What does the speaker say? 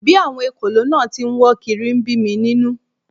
Bí àwọn ekòló náà tí ń wọ́ kiri ń bí mi nínú